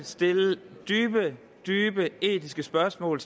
stille dybe dybe etiske spørgsmål